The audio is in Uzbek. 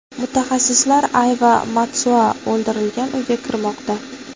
Mutaxassislar Ayva Matsuo o‘ldirilgan uyga kirmoqda.